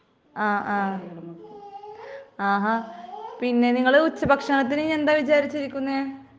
ആഹാ .പിന്നെ നിങ്ങള് ഉച്ച ഭക്ഷണത്തിനു എന്താ കരുതിയിരിക്കുന്നെ ?